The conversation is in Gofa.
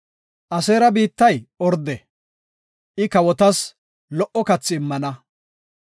“Aseera biittay orde; I kawotas lo77o kathi immana.